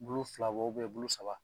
Bulu fila bɔ bulu saba